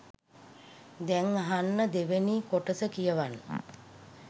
දැන් අහන්න දෙවනි කොටස කියවන්න.